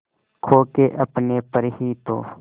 खो के अपने पर ही तो